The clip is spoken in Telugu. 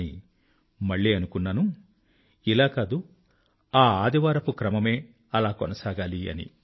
కానీ మళ్ళీ అనుకున్నాను ఇలా కాదు ఆ సండే క్రమమే అలా కొనసాగాలి అని